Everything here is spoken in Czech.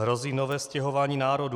Hrozí nové stěhování národů.